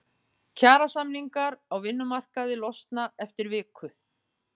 Kjarasamningar á vinnumarkaði losna eftir viku